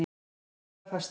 Þeir eru bara fastir.